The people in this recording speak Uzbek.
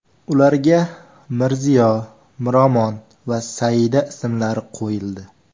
Ularga Mirziyo, Miromon va Saida ismlari qo‘yildi .